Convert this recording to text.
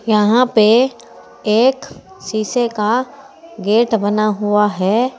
यहां पे एक शीशे का गेट बना हुआ है।